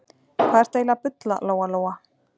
Hvað ertu eiginlega að bulla, Lóa Lóa?